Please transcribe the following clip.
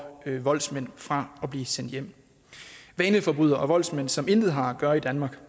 voldsmænd fra at blive sendt hjem vaneforbrydere og voldsmænd som intet har at gøre i danmark